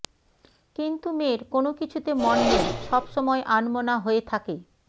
কিন্তু মেয়ের কোনকিছুতে মন নেই সবসময় আনমনা হয়ে থাকে